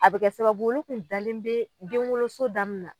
A bɛ kɛ sababu olu tun dalen be denwoloso da min na